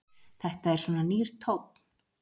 Þetta er svona nýr tónn.